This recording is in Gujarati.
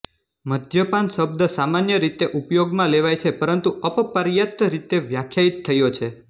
મદ્યપાન શબ્દ સામાન્ય રીતે ઉપયોગમાં લેવાય છે પરંતુ અપર્યાપ્ત રીતે વ્યાખ્યાયિત થયો છે